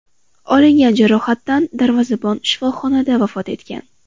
Olingan jarohatdan darvozabon shifoxonada vafot etgan.